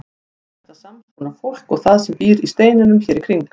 Er þetta sams konar fólk og það sem býr í steinunum hér í kring?